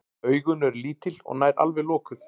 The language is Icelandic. Augun eru lítil og nær alveg lokuð.